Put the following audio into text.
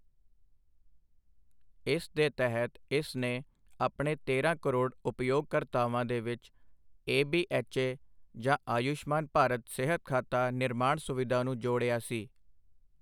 ਇਸ ਦੇ ਤਹਿਤ ਇਸ ਨੇ ਆਪਣੇ ਤੇਰਾਂ ਕਰੋੜ ਉਪਯੋਗਕਰਤਾਵਾਂ ਦੇ ਵਿੱਚ ਏਬੀਐੱਚਏ ਜਾਂ ਆਯੁਸ਼ਮਾਨ ਭਾਰਤ ਸਿਹਤ ਖਾਤਾ ਨਿਰਮਾਣ ਸੁਵਿਧਾ ਨੂੰ ਜੋੜਿਆ ਸੀ।